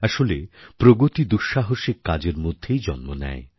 আসলে প্রগতি দুঃসাহসিক কাজের মধ্যেই জন্ম নেয়